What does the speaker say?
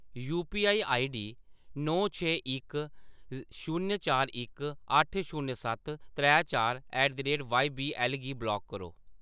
UPI ID नौ छे इक शून्य चार इक अट्ठ शून्य सत्त त्रै चार at the rate Y V L गी ब्लाक करो।